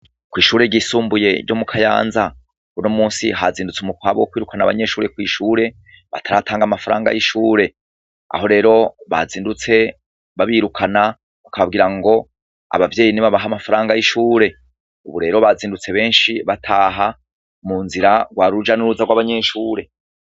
Kwishure ryisumbuye ryo mukayanza uno musi hazindutse umukwabu wo kwirukana abanyeshure bo kwishure bataratanga amafaranga yishure aho rero bazindutse babirukana bakababwira ngo abavyeyi ngo nibabahe amafaranga yishure uburero bazindutse benshi bataha munzira rwari uruja nuruza rwabanyeshure